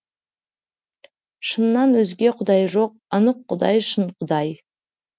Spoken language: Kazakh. шыннан өзге құдай жоқ анық құдай шын құдай